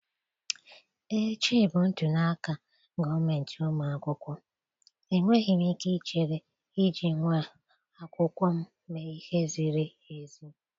echi bụ ntuli aka gọọmentị ụmụ akwụkwọ, enweghị m ike ichere iji nwa akwụkwọ m mee ihe ziri ezi.